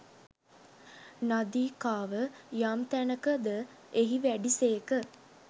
නාදිකාව යම් තැනක ද එහි වැඩි සේක.